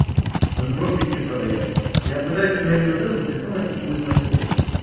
он просто их не продаёт я пытаюсь на свд уже прицел найти хуй знает сколько